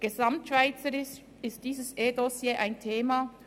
Gesamtschweizerisch ist dieses eDossier ein Thema.